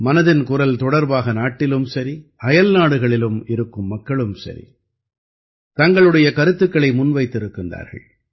மனதின் குரல் தொடர்பாக நாட்டிலும் சரி அயல்நாடுகளிலும் இருக்கும் மக்களும் சரி தங்களுடைய கருத்துக்களை முன்வைத்திருக்கின்றார்கள்